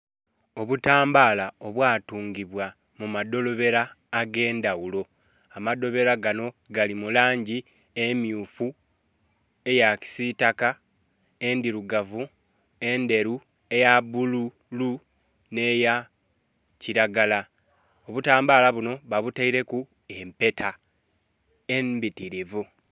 Obutambala obwa tungibwa mu madholobero age ndhaghulo ama dholobero ganho gali mu langi emyufu, eya kisitaka, endhirugavu, endheru, eya bulu nhe ya kilagala obutambala bunho babuteireku empeta embitirivu.